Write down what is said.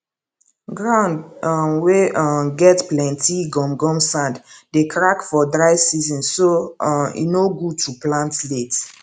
ground um wey um get plenty gum gum sand dey crack for dry season so um e no good to plant late